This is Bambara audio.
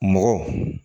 Mɔgɔ